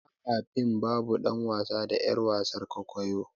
Ba a fim babu dan wasa da yar wasan kwaikwayo.